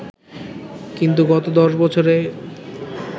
কিন্তু গত ১০ বছরে